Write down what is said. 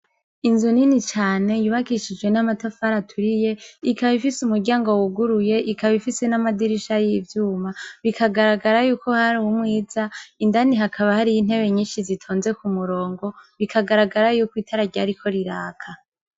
Inzu nini cane yubakishijwe n'amatafari aturiye, ikaba ifise umuryango wuguruye, ikaba ifise n'amadirisha y'ivyuma. Bikagaragara y'uko hari umwiza. Indani hakaba hariyo intebe nyinshi zitonze kumurongo, biragaragara y'uko itara ryariko riraka.